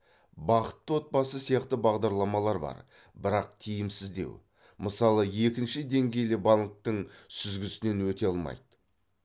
бақытты отбасы сияқты бағдарлама бар бірақ тиімсіздеу мысалы екінші деңгейлі банктің сүзгісінен өте алмайды